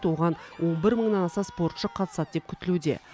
оған он бір мыңнан аса спортшы қатысады деп күтілуде